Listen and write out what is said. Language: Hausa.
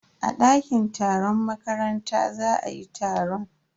A dakin taron makaranta za ayi taron.